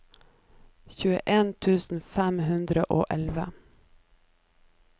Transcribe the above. tjueen tusen fem hundre og elleve